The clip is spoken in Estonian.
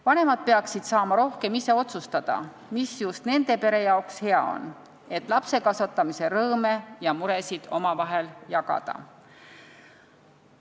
Vanemad peaksid saama rohkem ise otsustada, mis just nende pere jaoks hea on, et lapsekasvatamise rõõme ja muresid paremini omavahel jagada.